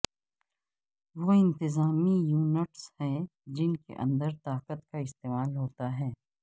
وہ انتظامی یونٹس ہیں جن کے اندر طاقت کا استعمال ہوتا ہے